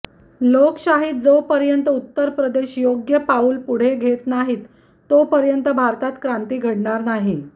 लोकशाहीत जोपर्यंत उत्तर प्रदेश योग्य पाऊल पुढे घेत नाहीत तोपर्यंत भारतात क्रांती घडणार नाही